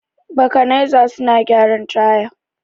Bakanaiza suna gyaran taya.